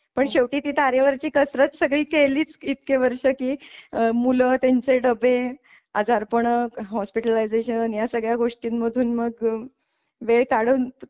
पण शेवटी ती तारेवरची कसरत सगळी केलीच इतकं वर्ष कि मुलं व त्यांच डबे आजारपण हॉस्पिटलाईजेशन या सगळ्या गोष्टींमधून मग वेळ काढून